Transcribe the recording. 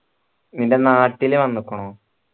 നിന്റെ നാട്ടിൽ വന്നിക്കിണോ